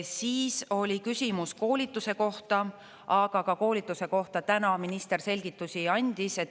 Siis oli küsimus koolituse kohta, aga ka koolituse kohta täna minister selgitusi andis.